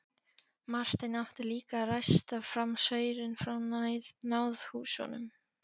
Marteinn átti líka að ræsta fram saurinn frá náðhúsunum.